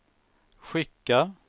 skicka